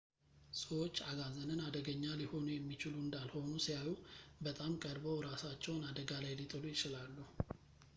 ሰዎች አጋዘንን አደገኛ ሊሆኑ የሚችሉ እንዳልሆኑ ሲያዩ በጣም ቀርበው እራሳቸውን አደጋ ላይ ሊጥሉ ይችላሉ